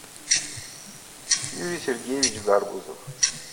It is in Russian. юрий сергеевич гарбузов